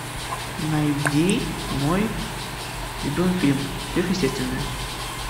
найди мой любимый фильм сверхъестественное